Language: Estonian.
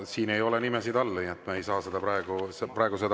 Siin ei ole nimesid all, nii et me ei saa seda praegu vastu võtta.